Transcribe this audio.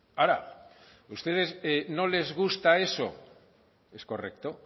ahora a ustedes no les gusta eso es correcto